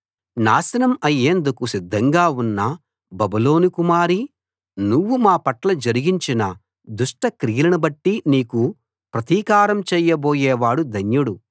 నాశనం అయ్యేందుకు సిద్ధంగా ఉన్న బబులోను కుమారీ నువ్వు మా పట్ల జరిగించిన దుష్ట క్రియలను బట్టి నీకు ప్రతీకారం చేయబోయేవాడు ధన్యుడు